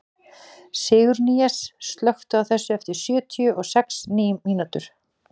Sigurnýjas, slökktu á þessu eftir sjötíu og sex mínútur.